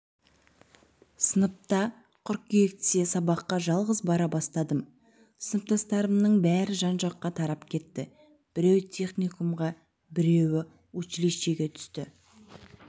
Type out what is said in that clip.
сыныпта қыркүйектен сабаққа жалғыз бара бастадым сыныптастарымның бәрі жан-жаққа тарап кетті біреу техникумға біреу училищеге түсті